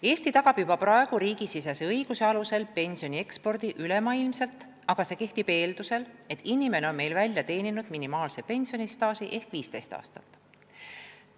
Eesti tagab juba praegu riigisisese õiguse alusel pensionide ekspordi ülemaailmselt, aga see kehtib eeldusel, et inimene on meil välja teeninud minimaalse pensionistaaži, milleks on 15 aastat.